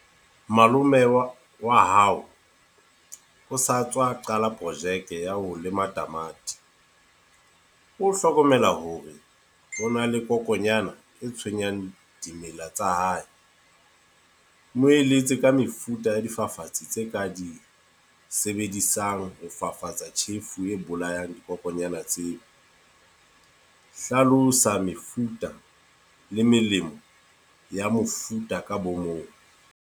Malome wa wa hao, o sa tswa qala projeke ya ho lema tamati. O hlokomela hore hona le kokonyana e tshwenyang dimela tsa hae. Mo eletse ka mefuta ya difafatsi tse ka di sebedisang ho fafatsa tjhefu e bolayang dikokonyana tseo. Hlalosa mefuta le melemo ya mofuta ka bo mong.